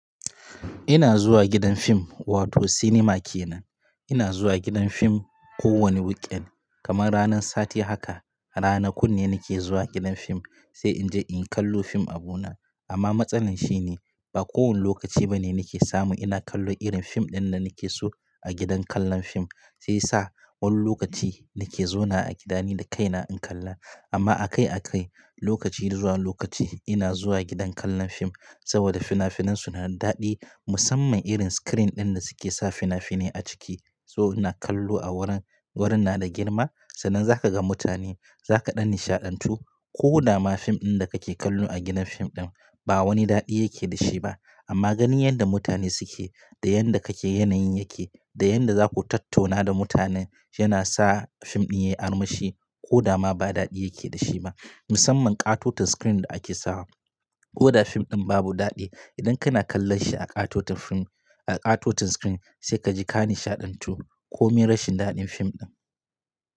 Ina zuwa gidan fim wato cinema kenan. Ina zuwa gidan fim kowane weekend kamar ranar sati haka. Ranakun ne nake zuwa gidan fim sai in je in kallo fim abuna. Amma matsalan shine ba kowane lokaci bane nake samu ina kallo irin fim ɗin da nake so a gidan kallon fim. Sai sa wani lokaci nake zauna a gidani da kaina in kalla. Amma akai akai lokaci zuwa lokaci ina zuwa gidan kallon fim saboda finafinan su na daɗi musamman irin screen ɗin da su ke sa finafini a ciki. So ina kallo a wurin, wurin na da girma sannan za ka ga mutane za ka ɗan nishaɗantu ko dama fim ɗin da ka ke kallo a gidan fim ɗin ba wani daɗi yake da shi ba. Amma ganin yadda mutane su ke da yadda kake yanayin yake da yadda za ku tattuna da mutanen yana sa fim ɗin yayi armashi ko dama ba daɗi yake da shi ba. Musamman ƙatoton screen da ake sawa ko da fim ɗin babu daɗi idan kana kallon shi a ƙatoton fim a ƙatoton screen sai ka ji ka nishaɗantu ko min rashin daɗin fim ɗin.